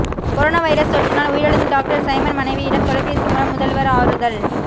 corona virus தொற்றினால் உயிரிழந்த doctor Simon மனைவியிடம் தொலைபேசி மூலம் முதல்வர் ஆறுதல்